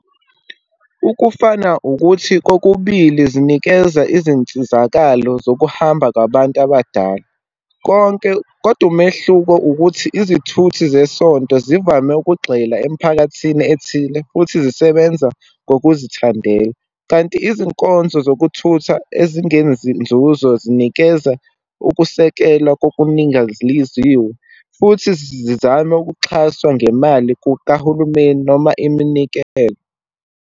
Ukufana ukuthi, kokubili zinikeza izinsizakalo zokuhamba kwabantu abadala. Konke, kodwa umehluko ukuthi, izithuthi zesonto zivame ukugxila emiphakathini ethile, futhi zisebenza ngokuzithandela. Kanti izinkonzo zokuthutha ezingezinzuzo zinikeza ukusekelwa kokuningaliziwe, futhi zizame ukuxhaswa ngemali kahulumeni noma iminikelo.